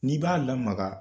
N'i b'a lamaga